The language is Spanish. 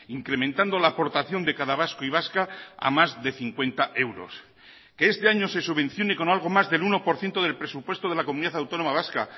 incrementando la aportación de cada vasco y vasca a más de cincuenta euros que este año se subvencione con algo más del uno por ciento del presupuesto de la comunidad autónoma vasca